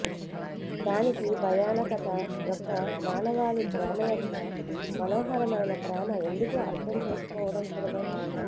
దానికి భయానకత యొక్క మానవాళి ప్రేమ యొక్క మనోహరమైన ప్రేమ ఎందుకు అర్థం చేసుకోవడం సులభం